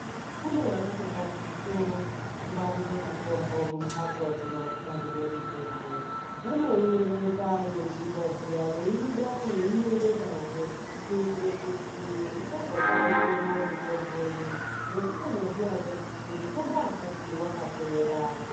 Kune vakatotaticha kungwarira mitombo mumbatso dzinofanira mitombo yeipinda zviya yeibuda veierenga kuitira kuti isazotamika mitombo inei nekuzoziya kuti mutombo wakati wakapera.